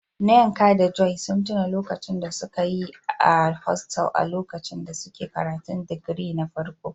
Nneka da Joy sun tuna lokacin da suka yi a hostels a lokacin da suke karatun digiri na farko.